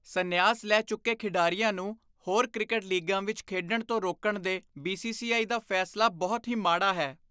ਸੰਨਿਆਸ ਲੈ ਚੁੱਕੇ ਖਿਡਾਰੀਆਂ ਨੂੰ ਹੋਰ ਕ੍ਰਿਕਟ ਲੀਗਾਂ ਵਿੱਚ ਖੇਡਣ ਤੋਂ ਰੋਕਣ ਦੇ ਬੀ.ਸੀ.ਸੀ.ਆਈ. ਦਾ ਫੈਸਲਾ ਬਹੁਤ ਹੀ ਮਾੜਾ ਹੈ।